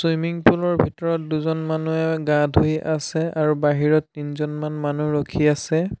Swimming pool ৰ ভিতৰত দুজন মানুহে গা ধুই আছে আৰু বাহিৰত তিনিজনমান মানুহ ৰখি আছে।